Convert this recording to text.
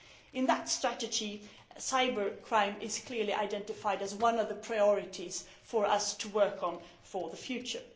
In that strategy, cybercrime is clearly identified as one of the priorities for us to work on for the future.